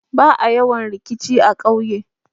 Ba'a yawan rikici a ƙauye.